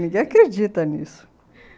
Ninguém acredita nisso.